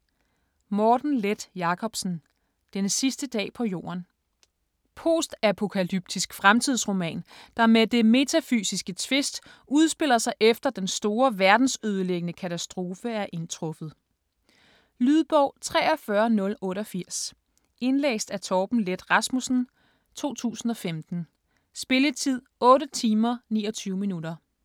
Leth Jacobsen, Morten: Den sidste dag på jorden Post-apokalyptisk fremtidsroman, der med det metafysiske twist udspiller sig efter den store verdensødelæggende katastrofe er indtruffet. Lydbog 43088 Indlæst af Thomas Leth Rasmussen, 2015. Spilletid: 8 timer, 29 minutter.